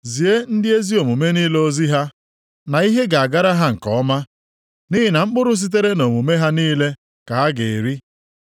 Zie ndị ezi omume niile ozi sị ha, na ihe ga-agara ha nke ọma, nʼihi na mkpụrụ sitere nʼomume ha niile ka ha ga-eri. + 3:10 \+xt Abụ 128:2\+xt*